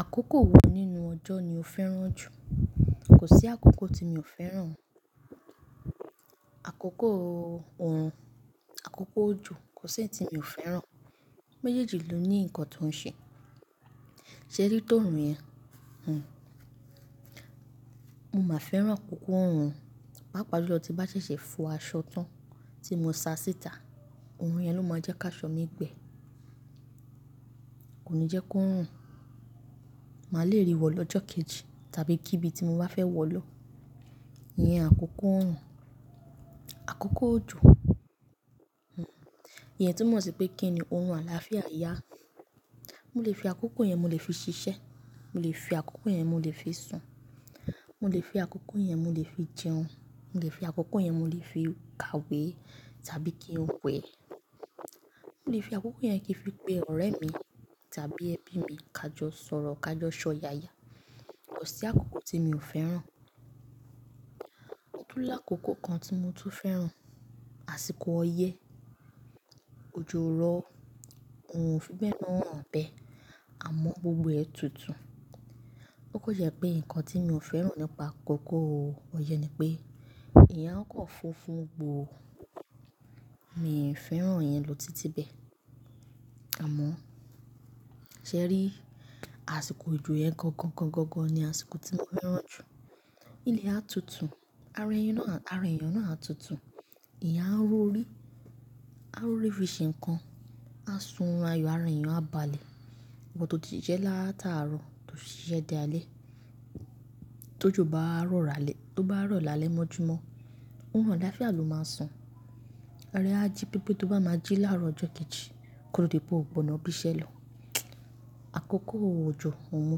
Àkókò wo nínú ọjọ́ ni o fẹ́ràn jù? Kò sí àkókò tí mi ò fẹ́ràn. Àkókò orun, àkókò òjò, kò sí e tí mi ò fẹ́ràn. Méjèèjì ló ní nǹkan tó ń ṣe. Ṣé rí tó orun yẹn? Hm. Mo máa fẹ́ràn àkókò orun, pàápàá ju lọ tí bá ṣẹ̀ṣẹ̀ fọ aṣọ tán tí mo sa síta, ohun yẹn ló máa jẹ́ ká aṣọ mi gbẹ. Kò ní jẹ́ kó ń rùn. Màá le rí wọ̀ lọ́jọ́ kejì tàbí kíbi tí mo bá fẹ́ wọ̀ lọ. Iyẹn àkókò orun, àkókò òjò. Hm. Iyẹn túmọ̀ sí pé kíni orun àlàáfíà yá. Mo lè fi àkókò yẹn mo lè fi ṣiṣẹ́, mo lè fi àkókò yẹn mo lè fi sùn, mo lè fi àkókò yẹn mo lè fi jẹun, mo lè fi àkókò yẹn mo lè fi kàwé tàbí kí n wẹ̀. Mo lè fi àkókò yẹn kí n fi pe ọ̀rẹ́ mi tàbí ẹbí mi, ká jọ sọ̀rọ̀ ká jọ sọ yaya. Kò sí àkókò tí mi ò fẹ́ràn. Tún lákòókò kan tí mo tún fẹ́ràn, àsìkò ọyẹ́, òjò rọ, orun ò fi bẹ́ náà hàn bẹ́, àmọ́ gbogbo ẹ tutù. Ó kò yẹ pé nǹkan tí mi ò fẹ́ràn nípa àkókò ọyẹ́ ni pé ìyá ọkọ̀ funfun gbòó. Mi i fwẹ́ràn iyẹn ló títí bẹ́. Àmọ́, ṣẹ ẹ rí? Àsìkò òjò yẹn gangan gangan ni àsìkò tí mo fẹ́ràn jù. Ilẹ̀ á tutù, ara èèyàn náà á tutù, ìyá a rorí, a rorí fi ṣe nǹkan, a sunrun ayọ̀ ara èèyàn a balẹ̀. Iwọ̀ to ti ṣẹ́ látàárọ̀ tó ṣíṣẹ́ dé alẹ́. Tójo bá rọ̀ lálẹ́, tó bá rọ̀ lálẹ́ mọ́júmọ́, orun àlàáfíà ló máa san. Ara á jí pépé tó bá máa jí láàárọ̀ ọjọ́ kejì kódi po ò gbọ̀nọ́ bí iṣẹ́ lọ. Àkókò òjò òun mo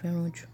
fẹ́ràn jù.